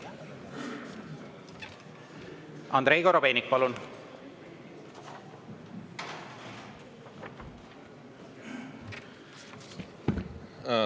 Andrei Korobeinik, palun!